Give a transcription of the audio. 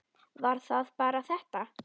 Var það bara þetta?